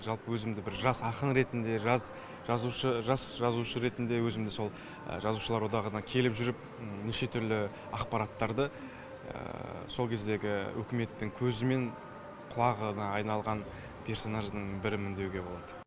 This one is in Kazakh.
жалпы өзімді бір жас ақын ретінде жас жазушы жас жазушы ретінде өзімді сол жазушылар одағына келіп жүріп неше түрлі ақпараттарды сол кездегі үкіметтің көзі мен құлағына айналған персонаждың бірімін деуге болады